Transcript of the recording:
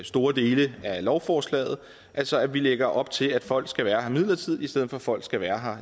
store dele af lovforslaget altså at vi lægger op til at folk skal være her midlertidigt i stedet for at folk skal være